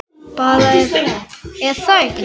Bara, er það ekki?